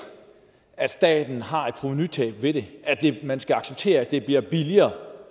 at staten har et provenutab ved det at man skal acceptere at det bliver billigere